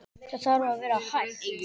Það þarf að vera hægt.